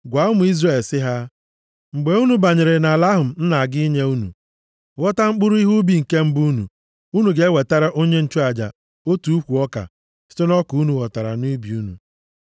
“Gwa ụmụ Izrel sị ha, ‘Mgbe unu banyere nʼala ahụ m na-aga inye unu, ghọta mkpụrụ ihe ubi nke mbụ unu, unu ga-ewetara onye nchụaja otu ukwu ọka site nʼọka unu ghọtara nʼubi unu.